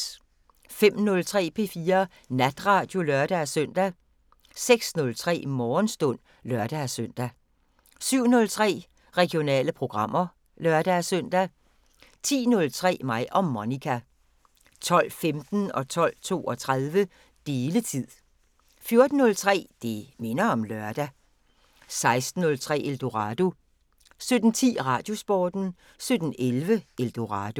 05:03: P4 Natradio (lør-søn) 06:03: Morgenstund (lør-søn) 07:03: Regionale programmer (lør-søn) 10:03: Mig og Monica 12:15: Deletid 12:32: Deletid 14:03: Det minder om lørdag 16:03: Eldorado 17:10: Radiosporten 17:11: Eldorado